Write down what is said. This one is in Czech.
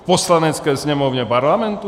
V Poslanecké sněmovně Parlamentu?